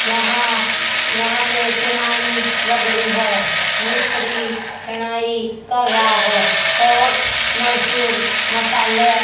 यहां यहां पर चुनाई लग रही है मिस्त्री चुनाई कर रहा है और मजदूर मसाले--